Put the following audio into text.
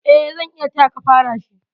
Eh, zan iya tayaka fara shi.